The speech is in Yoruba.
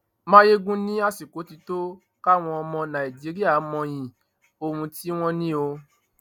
mayegun ni àsìkò tí tó káwọn ọmọ nàìjíríà mọyì ohun tí wọn ní o